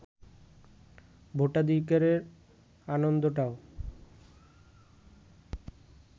ভোটাধিকারের আনন্দটাও